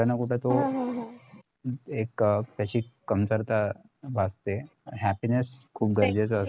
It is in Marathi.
एक त्याची कमतरता भासते happiness खुप गरजेचा असतो